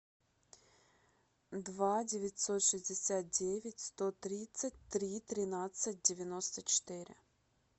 два девятьсот шестьдесят девять сто тридцать три тринадцать девяносто четыре